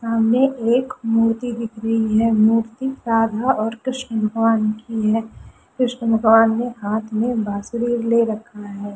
सामने एक मूर्ति दिख रही है मूर्ति राधा और कृष्ण भगवान की है कृष्ण भगवान ने हाथ में बासुरी ले रखा है।